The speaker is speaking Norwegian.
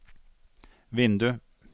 vindu